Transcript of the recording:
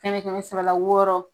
kɛmɛ kɛmɛ sɔrɔ la wɔɔrɔ